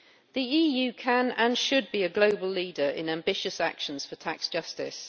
The EU can, and should, be a global leader in ambitious actions for tax justice.